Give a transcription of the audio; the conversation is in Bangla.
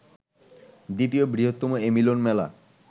দ্বিতীয় বৃহত্তম এ মিলন মেলা